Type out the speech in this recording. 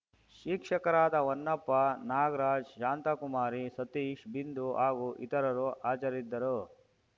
ಶಿಕ್ಷಕರಾದ ಹೊನ್ನಪ್ಪ ನಾಗರಾಜ್‌ ಶಾಂತಾಕುಮಾರಿ ಸತೀಶ್‌ ಬಿಂದು ಹಾಗು ಇತರರು ಹಾಜರಿದ್ದರು